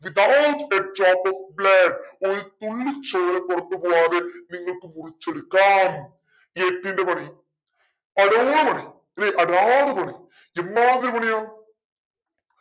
of blood ഒരു തുള്ളി ചോര പുറത്ത് പോവാതെ നിങ്ങൾക് മുറിച്ചെടുക്കാം. എട്ടിന്റെ പണി ആടാറു പണി അല്ലെ ആടാറു പണി എമ്മാതിരി പണിയാ